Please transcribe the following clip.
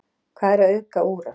hvað er að auðga úran